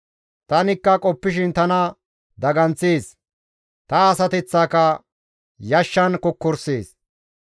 Tani qoppishin tanakka daganththees; ta asateththaaka yashshan kokkorisees.